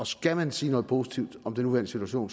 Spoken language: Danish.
skal man sige noget positivt om den nuværende situation